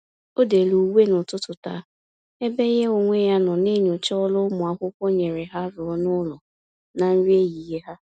O-dere uwe n'ụtụtụ taa, ebe ya onwe ya nọ na-enyocha ọrụ ụlọakwụkwọ nyere ha rụọ na-ụlọ na nri ehihie ha